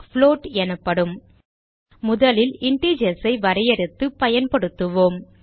float எனப்படும் முதலில் integers ஐ வரையறுத்து பயன்படுத்துவோம்